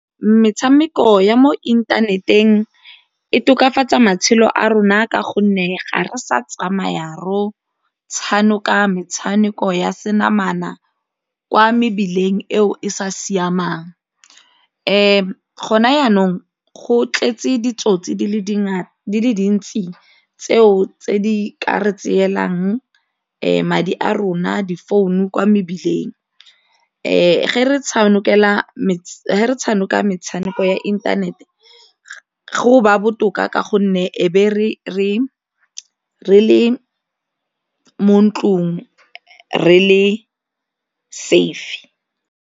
Metshameko ya mo inthaneteng e tokafatsa matshelo a rona ka gonne ga re sa tsamaya re go tshameka metshameko ya senamana kwa mebileng eo e sa siamang. Gona jaanong go tletse ditsotsi di le di le dintsi tseo tse di ka re tseelang madi a rona difounu kwa mebileng, ga re tshameka metshameko ya inthanete go ba botoka ka gonne e be le mo ntlong re le safe.